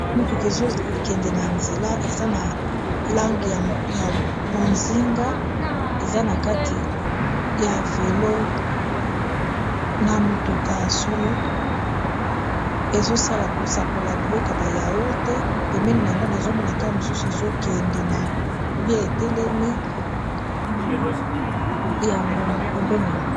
motuka ezokende na nzela eza na langi ya bozinga eza na kati ya velo na motuka ya solo ezosala kosakola biloka bayao te pembeni yango nazomona kaka mosusu ezokende na bia etelemi yango pembeni yango